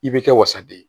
I bɛ kɛ wasaden ye